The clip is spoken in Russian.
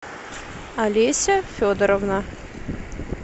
олеся федоровна